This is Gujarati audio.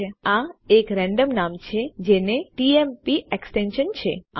તમે જોઈ શકો છો કે આ એક રેંડમ નામ છે જેને ટીએમપી એક્સટેન્સન છે